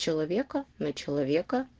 человека на человека